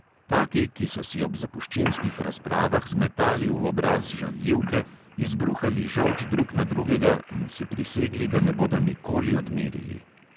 Taki, ki so si ob zapuščinskih razpravah zmetali v obraz žaljivke, izbruhali žolč drug na drugega in si prisegli, da ne bodo nikoli odmerili.